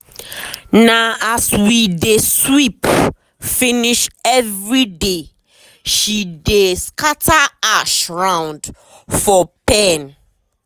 na as we dey sweep finish everyday she dey scatter ash round for pen.